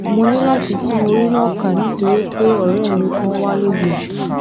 mo ní láti tún orí náà kà nítorí pé òré mi kan wá lójijì